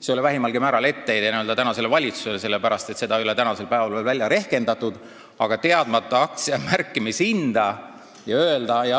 See ei ole vähimalgi määral etteheide tänasele valitsusele, sest seda ei ole veel välja rehkendatud, aga teadmata aktsia märkimishinda